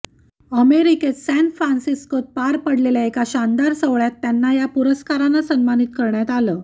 अमेरिकेत सॅन फ्रान्सिस्कोत पार पडलेल्या एका शानदार सोहळ्यात त्यांना या पुरस्कारानं सन्मानित करण्यात आलं